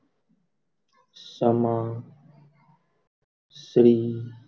Sama Shri